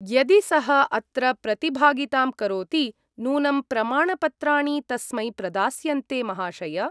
यदि सः अत्र प्रतिभागितां करोति नूनं प्रमाणपत्राणि तस्मै प्रदास्यन्ते, महाशय!